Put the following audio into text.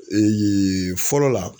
fɔlɔ la